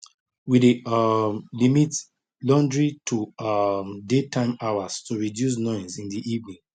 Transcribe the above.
we dey um limit laundry to um daytime hours to reduce noise in the evening